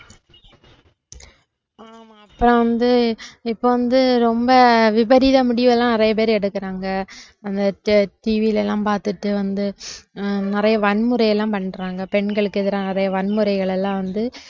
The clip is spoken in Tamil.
ஆமா அப்பறம் வந்து இப்ப வந்து ரொம்ப விபரீத முடிவு எல்லாம் நிறைய பேர் எடுக்குறாங்க அந்த TV ல எல்லாம் பார்த்துட்டு வந்து அஹ் நிறைய வன்முறை எல்லாம் பண்றாங்க பெண்களுக்கு எதிராக நிறைய வன்முறைகள் எல்லாம் வந்து